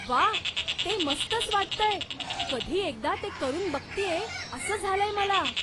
व्वा, ते मस्तच वाटतंय! कधी एकदा ते करून बघतेय असं झालंय मला.